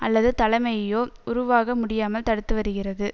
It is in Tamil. அல்லது தலைமையோ உருவாக முடியாமல் தடுத்து வருகிறது